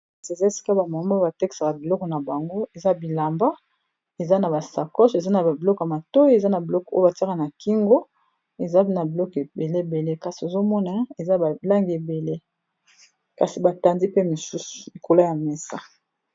eza esika ba mama batekisaka biloko na bango eza bilamba eza na basacoche eza na babiloko ya matoyi eza na biloko oyo batiaka na kingo ezae na biloke ebeleebele kasi ozomona eza balangi ebele kasi batandi pe mosusu likola ya mesa